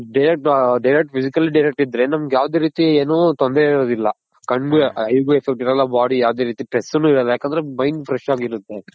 Direct Physically Direct ಇದ್ರೆ ನಮ್ಗ್ ಯಾವ್ದು ರೀತಿ ಏನು ತೊಂದ್ರೆ ಇರೋದಿಲ್ಲ ಕಣ್ಗೆ eye ಗು effect ಇರಲ್ಲ body ಯಾವ್ದೆ ರೀತಿ Stress ನು ಇರೋದಿಲ್ಲ ಯಾಕೆ ಅಂದ್ರೆ Mind fresh ಆಗಿರುತ್ತೆ.